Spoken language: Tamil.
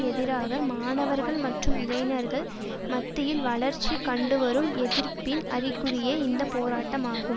எதிராக மாணவர்கள் மற்றும் இளைஞர்கள் மத்தியில் வளர்ச்சி கண்டுவரும் எதிர்ப்பின் அறிகுறியே இந்த போராட்டமாகும்